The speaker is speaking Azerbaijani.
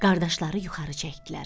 Qardaşları yuxarı çəkdilər.